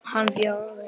Hann Bjöggi okkar.